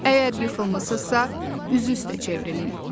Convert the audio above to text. Əgər yıxılmısınızsa, üzü üstə çevrilin.